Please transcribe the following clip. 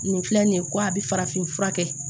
Nin filɛ nin ye ko a bɛ farafin fura kɛ